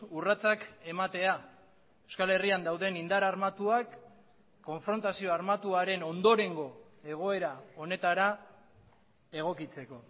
urratsak ematea euskal herrian dauden indar armatuak konfrontazio armatuaren ondorengo egoera honetara egokitzeko